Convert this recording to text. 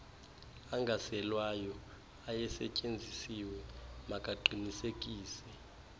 angaselwayo ayesetyenzisiwe makaqinisekise